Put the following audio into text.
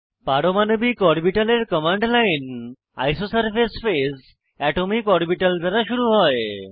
পারমাণবিক অরবিটালের command line isosurface phase atomic orbital দ্বারা শুরু হয়